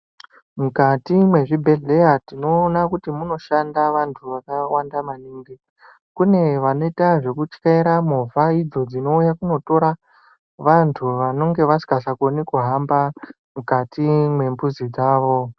Mukati mwezvibhehleya tinoona kuti munoshanda vantu vakawanda maningi. Kune vanoita zvekutyaira movha idzo dzinouye kunotora vantu vanenge vasikachakoni kuhamba mukati mwembuzi dzavo.